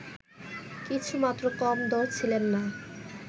কিছুমাত্র কম দড় ছিলেন না